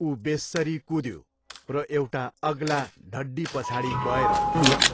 उ बेस्सरी कुद्यो र एउटा अग्ला ढड्डीपछाडि गएर लुक्यो।